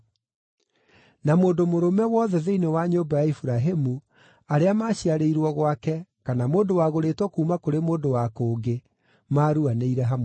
Na mũndũ mũrũme wothe thĩinĩ wa nyũmba ya Iburahĩmu, arĩa maciarĩirwo gwake, kana mũndũ wagũrĩtwo kuuma kũrĩ mũndũ wa kũngĩ, maaruanĩire hamwe nake.